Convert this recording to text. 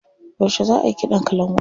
Yauce za ayi kiɗan kalangun?